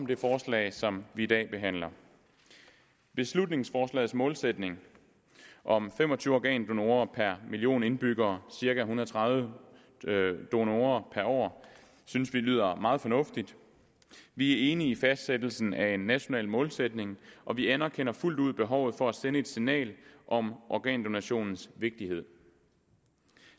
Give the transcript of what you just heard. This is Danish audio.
det forslag som vi i dag behandler beslutningsforslagets målsætning om fem og tyve organdonorer per million indbyggere cirka en hundrede og tredive donorer per år synes vi lyder meget fornuftigt vi er enige i fastsættelsen af en national målsætning og vi anerkender fuldt ud behovet for at sende et signal om organdonationens vigtighed